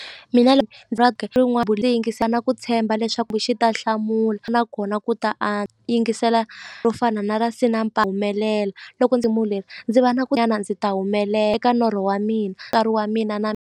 Mina yingisa na ku tshemba leswaku xi ta hlamula nakona ku ta a yingisela ro fana na ra humelela loko ndzi ndzi va na ku nyana ndzi ta eka norho wa mina wa mina na.